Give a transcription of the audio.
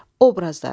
Obrazlar.